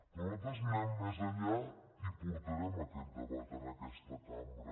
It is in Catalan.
però nosaltres anem més enllà i portarem aquest debat a aquesta cambra